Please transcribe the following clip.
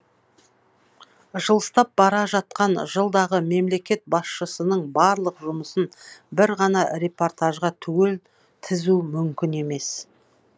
жылыстап бара жатқан жылдағы мемлекет басшысының барлық жұмысын бір ғана репортажға түгел тізу мүмкін емес